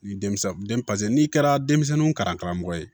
Ni denmisɛn n'i kɛra denmisɛnninw kalan karamɔgɔ ye